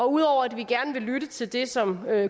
ud over at vi gerne vil lytte til det som